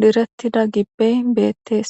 direttida gibbey beettees